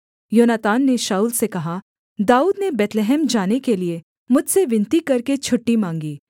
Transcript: योनातान ने शाऊल से कहा दाऊद ने बैतलहम जाने के लिये मुझसे विनती करके छुट्टी माँगी